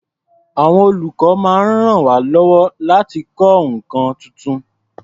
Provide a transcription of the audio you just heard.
Àwọn olùkọ́ máa ń ràn wá lọ́wọ́ láti kọ́ nǹkan tuntun.